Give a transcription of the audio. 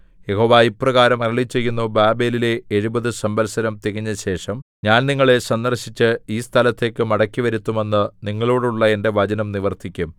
യഹോവ ഇപ്രകാരം അരുളിച്ചെയ്യുന്നു ബാബേലിലെ എഴുപത് സംവത്സരം തികഞ്ഞശേഷം ഞാൻ നിങ്ങളെ സന്ദർശിച്ച് ഈ സ്ഥലത്തേക്ക് മടക്കിവരുത്തുമെന്ന് നിങ്ങളോടുള്ള എന്റെ വചനം നിവർത്തിക്കും